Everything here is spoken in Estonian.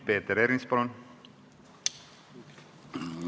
Peeter Ernits, palun!